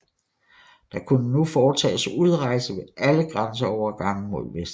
Der kunne nu foretages udrejse ved alle grænseovergange mod vest